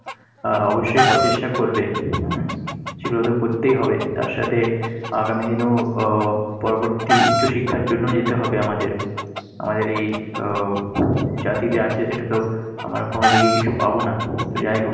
আহ অবশ্যই প্রচেষ্টা করবে, হম সেগুলোতো করতেই হবে, তার সাথে আগামী দিনেও আহ পরবর্তী উচ্চ শিক্ষার জন্য যেতে হবে আমাদের। আমাদের এই আহ জাতিতে আছে সেটাতে আমরা কোনোদিকে কিছু পাবো না। যাই হোক